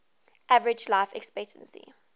average life expectancy